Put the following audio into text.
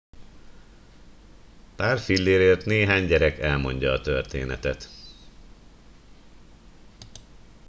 pár fillérért néhány gyerek elmondja a történetet